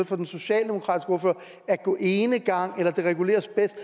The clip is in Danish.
fra den socialdemokratiske ordfører at gå enegang eller at det reguleres bedst